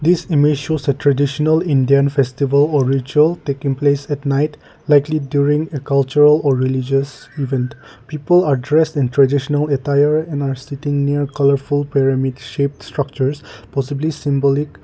this image shows a traditional indian festival or ritual taking place at night likely during a cultural or religious event people are dressed in traditional attire and are sitting near colourful pyramid shaped structures possibly symbolic.